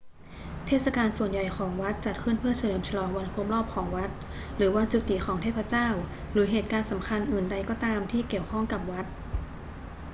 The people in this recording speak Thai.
เทศกาลส่วนใหญ่ของวัดจัดขึ้นเพื่อเฉลิมฉลองวันครบรอบของวัด หรือวันจุติของเทพเจ้า หรือเหตุการณ์สำคัญอื่นใดก็ตามที่เกี่ยวข้องกับวัด